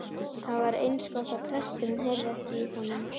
Það var eins gott að presturinn heyrði ekki í honum.